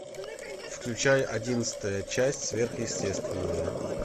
включай одиннадцатая часть сверхъестественное